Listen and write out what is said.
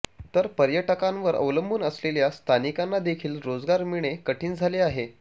तर पर्यटकांवर अवलंबून असलेल्या स्थानिकांनादेखील रोजगार मिळणे कठीण झाले आहे